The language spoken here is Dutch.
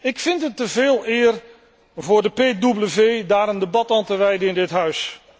Ik vind het te veel eer voor de P double V daar een debat aan te wijden in dit huis.